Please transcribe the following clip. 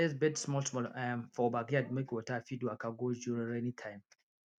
i raise bed small small um for backyard make water fit waka go during rainy time